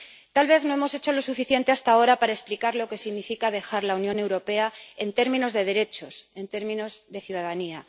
Tal vez no hemos hecho lo suficiente hasta ahora para explicar lo que significa dejar la Unión Europea en términos de derechos, en términos de ciudadanía.